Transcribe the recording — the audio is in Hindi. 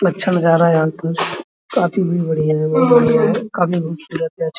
अच्छा नजारा है यहाँ पर काफी बढ़िया है काफी खूबसूरत है।